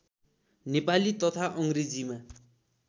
नेपाली तथा अङ्ग्रेजीमा